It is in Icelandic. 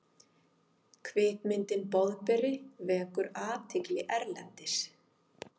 Kvikmyndin Boðberi vekur athygli erlendis